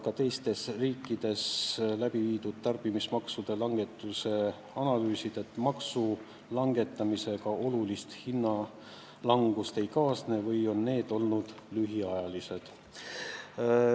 Ka teistes riikides läbiviidud tarbimismaksude langetuse analüüsid näitavad, et maksude langetamisega olulist hinnalangust ei kaasne või on see lühiajaline.